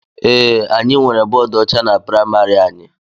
Ee, anyị nwere bọọdu ọcha na praịmarị anyị.